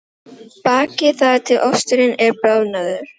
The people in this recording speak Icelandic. Bakið þar til osturinn er bráðnaður.